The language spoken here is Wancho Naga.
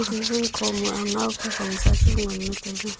Tabun kho ma ngawpa gongsa chu nganle taile.